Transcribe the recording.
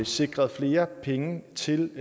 sikret flere penge til